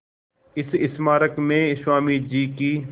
इस स्मारक में स्वामी जी की